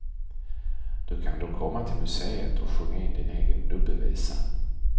Du kan då komma till museet och sjunga in din egen nubbevisa.